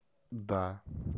да